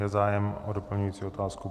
Je zájem o doplňující otázku?